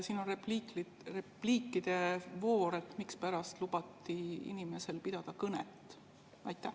Siin on repliikide voor, mispärast lubati inimesel pidada kõnet?